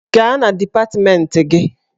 Gaa na dipatmenti gị!